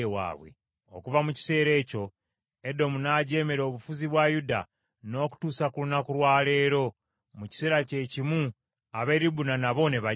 Okuva mu kiseera ekyo Edomu n’ajeemera obufuzi bwa Yuda n’okutuusa ku lunaku lwa leero. Mu kiseera kye kimu ab’e Libuna nabo ne bajeema.